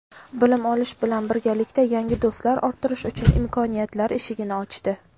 bilim olish bilan birgalikda yangi do‘stlar orttirish uchun imkoniyatlar eshigini ochdi.